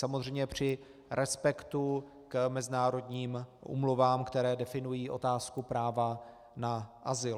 Samozřejmě při respektu k mezinárodním úmluvám, které definují otázku práva na azyl.